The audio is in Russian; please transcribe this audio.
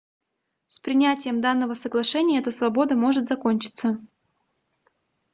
с принятием данного соглашения эта свобода может закончиться